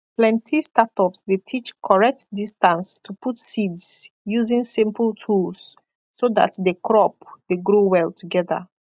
plenty startups dey teach correct distance to put seeds using simple tools so that the crop de grow well together